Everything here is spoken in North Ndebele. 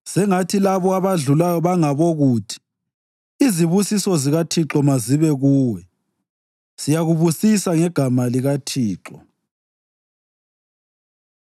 Sengathi labo abadlulayo bangabokuthi, “Izibusiso zikaThixo mazibe kuwe; siyakubusisa ngegama likaThixo.”